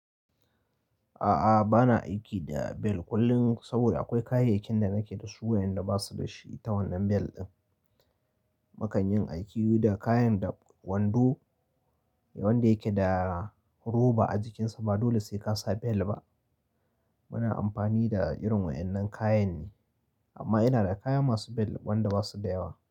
A'a, bana aiki da bel kullum saboda akwai kayayyakin da nake da su waɗanda ba su da shi ta wannan bel ɗin. Makan yin aiki da kayan da wando wanda yake da roba a jikinsa ba dole sai ka sa bel ba. Muna amfani da irin waɗannan kayan ne, amma ina da kaya masu bel wanda ba su da yawa.